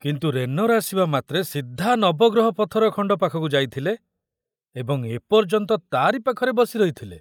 କିନ୍ତୁ ରେନର ଆସିବା ମାତ୍ରେ ସିଧା ନବଗ୍ରହ ପଥର ଖଣ୍ଡ ପାଖକୁ ଯାଇଥିଲେ ଏବଂ ଏପର୍ଯ୍ୟନ୍ତ ତାରି ପାଖରେ ବସି ରହିଥିଲେ।